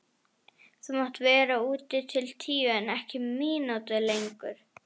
Þú mátt vera úti til tíu en ekki mínútu lengur.